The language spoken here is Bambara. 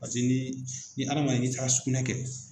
ni ni adamaden n'i taara sugunɛ kɛ